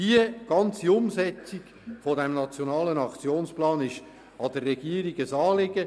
Die Umsetzung des NAP ist der Regierung ein Anliegen.